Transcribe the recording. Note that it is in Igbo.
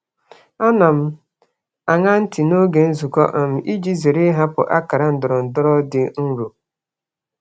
Ana m aṅa ntị n'oge nzukọ iji zere um ịhapụ akara ndọrọndọrọ dị nro.